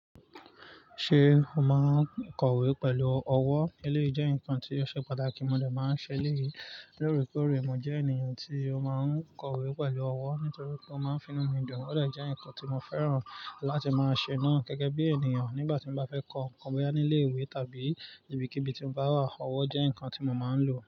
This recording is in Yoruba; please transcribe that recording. Ṣé o máa ń kọ̀wé pẹ̀lú ọwọ́? Eléyìí jẹ́ nǹkan tí ó ṣe pàtàkì, mo dà máa ń ṣe eléyìí. Lóre kóre, mo jẹ́ ènìyàn tí ó máa ń kọ̀wé pẹ̀lú ọwọ́ nítorí pé ó máa ń finú mi dùn. Ó de jẹ́ ǹkan tí mo fẹ́ràn láti máa ṣe náà gẹ́gẹ́ bí ènìyàn nígbà tí mo bá fẹ́ kọ ǹkan bóyá ní ilé ìwé tàbí níbikíbi tí mo bá wà. Ọwọ́ jẹ́ ǹkan tí mo máa ń lò.